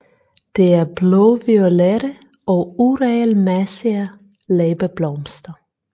De er blåviolette og uregelmæssige læbeblomster